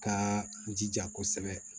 Ka jija kosɛbɛ